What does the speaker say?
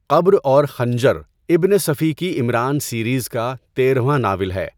قبر اور خنجر ابن صفی کی عمران سيريز کا تیرھواں ناول ہے۔ ن